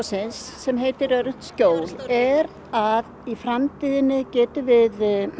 sem heitir öruggt skjól er að í framtíðinni getum við